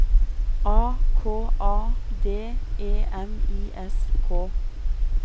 A K A D E M I S K